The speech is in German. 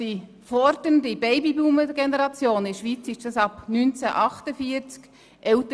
Die in der Schweiz ist es die Generation mit Jahrgängen ab 1948 – wird älter.